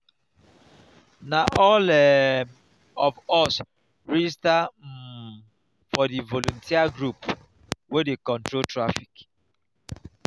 na all um of us register um for di voluteer group wey dey control traffic.